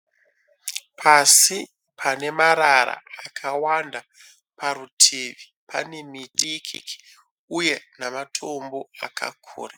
Pasi pane marara akawanda parutivi pane miti nematombo zvakakura